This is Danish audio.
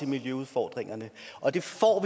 miljøudfordringerne og det får